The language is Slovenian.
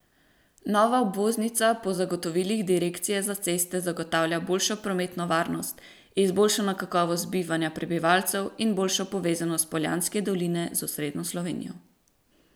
Nova obvoznica po zagotovilih direkcije za ceste zagotavlja boljšo prometno varnost, izboljšano kakovost bivanja prebivalcev in boljšo povezanost Poljanske doline z osrednjo Slovenijo.